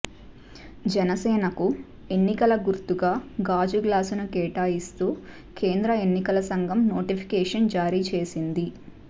జనసేనకు ఎన్నికల గుర్తుగా గాజు గ్లాసును కేటాయిస్తూ కేంద్ర ఎన్నికల సంఘం నోటిఫికేషన్ జారీ చేసింది